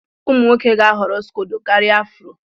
Ụmụ nwoke ga-ahọrọ scodo karia afro.